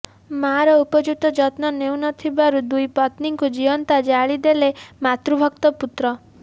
ମାଆର ଉପଯୁକ୍ତ ଯତ୍ନ ନେଉ ନ ଥିବାରୁ ଦୁଇ ପତ୍ନୀଙ୍କୁ ଜୀବନ୍ତ ଜାଳି ଦେଲେ ମାତୃଭକ୍ତ ପୁତ୍ର